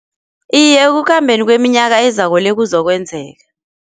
Iye ekukhambeni kweminyaka ezako le kuzokwenzeka.